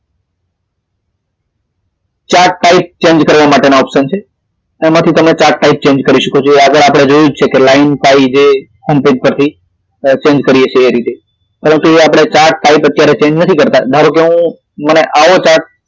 ચાર તારીખ change કરવા માટેના option છે તેમાંથી તમે ચાર તારીખ change કરી શકો છો આગળ આપડે જોયું જ છે કે line pie છે જે અનફીટ થતી change કરીએ છીએ એ રીતે પરતું ચાર તારીખ એ આપડે એ change નથી કરતા ધારો કે મને આવો chart